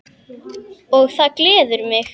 Og það gleður mig!